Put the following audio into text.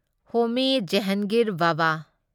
Homi Jehangir Bhabha